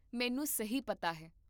ਮੈਨੂੰ ਸਹੀ ਪਤਾ ਹੈ?